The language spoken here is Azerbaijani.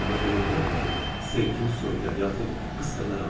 Ona görə öldürərəm ki, sevgim soyuyar yaxud qısqanaram.